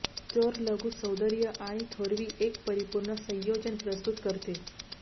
चोर लघु सौंदर्य आणि थोरवी एक परिपूर्ण संयोजन प्रस्तुत करते